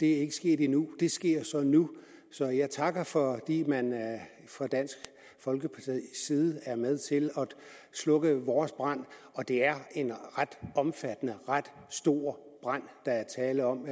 er sket endnu det sker nu så jeg takker fordi man fra dansk folkepartis side er med til at slukke vores brand og det er en ret omfattende ret stor brand der er tale om